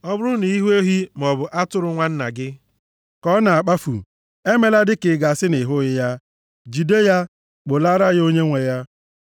Ọ bụrụ na ị hụ ehi, maọbụ atụrụ nwanna gị ka ọ na-akpafu, emela dịka a ga-asị na ị hụghị ya, jide ya, kpụlaara ya onye nwe ya.